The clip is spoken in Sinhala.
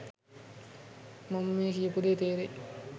මම මේ කියපු දේ තේරෙයි.